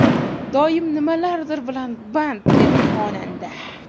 Doim nimalardir bilan band”, dedi xonanda.